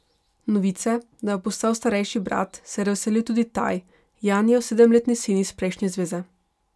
Novice, da bo postal starejši brat, se je razveselil tudi Taj, Janijev sedemletni sin iz prejšnje zveze.